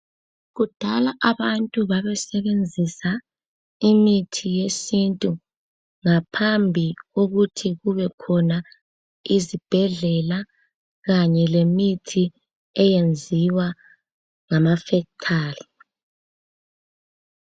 Kudala abantu babesebenzisa imithi yesintu ngaphambi kokuthi kubekhona izibhedlela kanye lemithi eyenziwa emafekithari